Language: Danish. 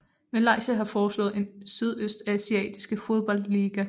Malaysia har foreslået en sydøstasiatiske fodboldliga